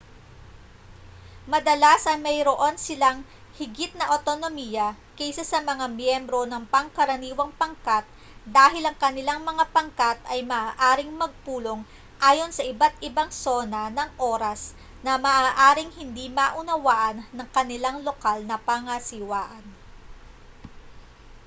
madalas ay mayroon silang higit na awtonomiya kaysa sa mga miyembro ng pangkaraniwang pangkat dahil ang kanilang mga pangkat ay maaaring magpulong ayon sa iba't-ibang sona ng oras na maaaring hindi maunawaan ng kanilang lokal na pangasiwaan